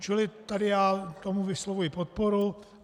Čili tady já tomu vyslovuji podporu.